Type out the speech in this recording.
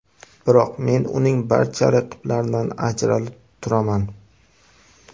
Biroq men uning barcha raqiblaridan ajralib turaman.